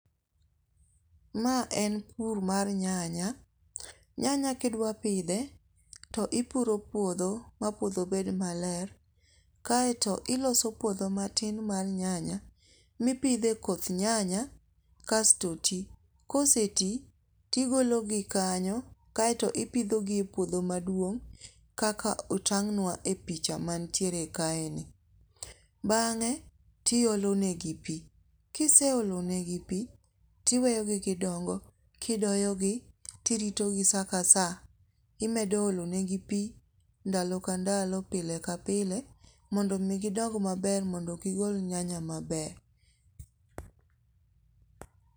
Ma en pur mar nyanya, nyanya kidwapidhe to ipuro puotho ma puotho bed maler, kaeto iloso puotho matin mar nyanya mipidhe e koth nyanya kasto ti, koseti tigologi kanyo kaeto ipidhogi e puotho maduong' kaka otang'nwa e picha mantiere kaeni , bang'e tiolonegi pi, kiseolonegi pi, tiweyogi gidongo kidoyogi kiritogi saa ka saa imedo olonegi pi ndalo ka ndalo pile ka pile mondo mi gidong maber mondo mi gigol nyanya maber